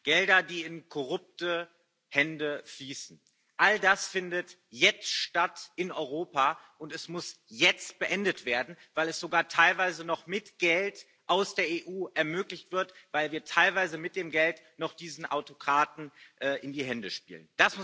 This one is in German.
Gelder, die in korrupte Hände fließen. All das findet jetzt in Europa statt, und es muss jetzt beendet werden, weil es sogar teilweise noch mit Geld aus der EU ermöglicht wird, weil wir teilweise mit dem Geld noch diesen Autokraten in die Hände spielen.